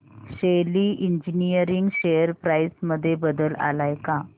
शेली engineering share price मध्ये बदल आलाय का